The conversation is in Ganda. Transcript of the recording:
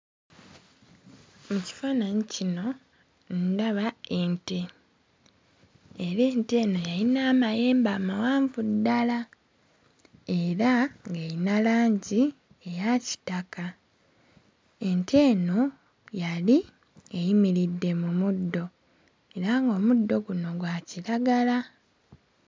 Mu kifaananyi kino ndaba ente era ente eno yayina amayembe amawanvu ddala era ng'erina langi eya kitaka, ente eno yali eyimiridde mu muddo era ng'omuddo guno gwa kiragala.